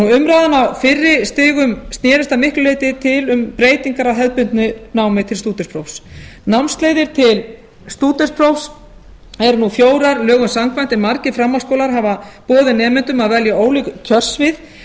umræðan á fyrri stigum snerist að miklu leyti til um breytingar á hefðbundnu námi til stúdentsprófs námsleiðir til stúdentsprófs eru nú fjórar lögum samkvæmt en margir framhaldsskólar hafa boðið nemendum að velja ólík kjörsvið